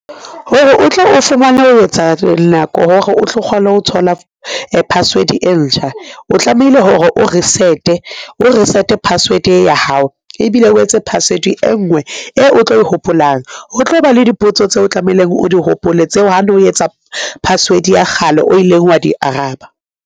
Hore o tle o fumane ho etsa nako hore o tlo kgone ho thola password e ntjha, o tlamehile hore o reset-e, o reset-e password ya hao, ebile o etse password e ngwe e o tlo e hopolang ho tlo ba le dipotso tseo tlameleng o di hopole tseo ha no etsa password ya kgale o ileng wa di araba.